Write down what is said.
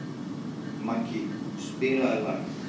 Maggý, spilaðu lag.